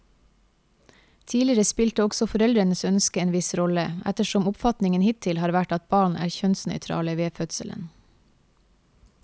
Tidligere spilte også foreldrenes ønske en viss rolle, ettersom oppfatningen hittil har vært at barn er kjønnsnøytrale ved fødselen.